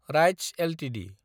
rights Ltd